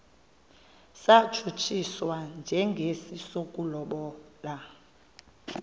satshutshiswa njengesi sokulobola